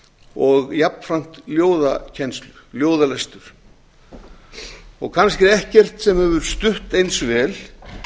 og jafnframt ljóðalestur kannski er ekkert sem hefur stutt eins vel